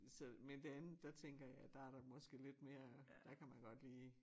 Så men det andet der tænker jeg der er der måske lidt mere der kan man godt lige